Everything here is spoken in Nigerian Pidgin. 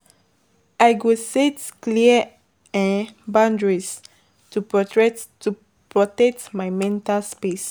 I go set clear um boundaries to protect my mental space.